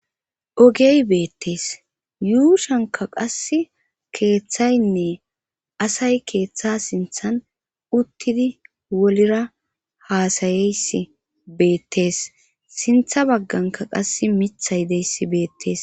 ogey beettees yuushanka qass keeththaynne asay keeththa sinthan uttidi wolira haasayeys beettees sintha bagganka qass mithay deyssi beettees